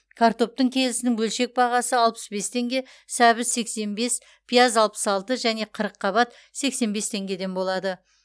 картоптың келісінің бөлшек бағасы алпыс бес теңге сәбіз сексен бес пияз алпыс алты және қырыққабат сексен бес теңгеден болады